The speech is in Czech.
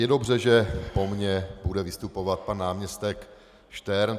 Je dobře, že po mně bude vystupovat pan náměstek Štern.